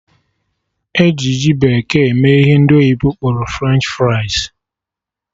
E ji ji bekee eme ihe ndị oyibo kpọrọ French fries